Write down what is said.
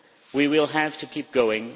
We will have to keep going.